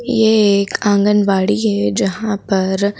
ये एक आंगनबाड़ी है जहां पर--